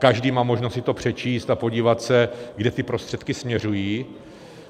Každý má možnost si to přečíst a podívat se, kam ty prostředky směřují.